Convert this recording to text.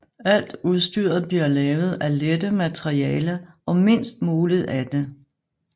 Alt udstyret bliver lavet af lette materialer og mindst muligt af det